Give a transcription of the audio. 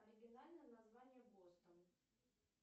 оригинальное название бостон